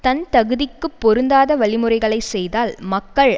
தன் தகுதிக்குப் பொருந்தாத வழிமுறைகளை செய்தால் மக்கள்